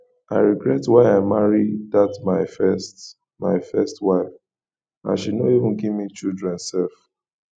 i regret why i marry dat my first my first wife and she no even give me children sef